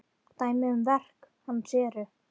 Dæmi um verk hans eru